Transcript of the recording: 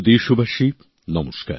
আমার প্রিয় দেশবাসী নমস্কার